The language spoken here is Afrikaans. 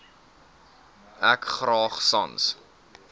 ek graag sans